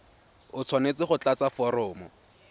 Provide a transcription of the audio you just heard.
o tshwanetse go tlatsa foromo